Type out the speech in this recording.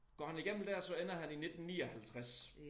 Går han igennem dér så ender han i 19 59